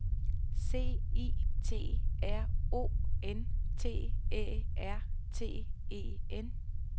C I T R O N T Æ R T E N